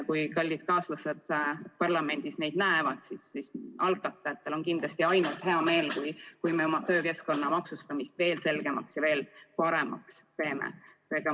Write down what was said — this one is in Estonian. Kui kallid kaaslased parlamendis neid probleeme näevad, siis algatajatel on kindlasti ainult hea meel, kui me oma töökeskkonna maksustamise veel selgemaks ja veel paremaks teeme.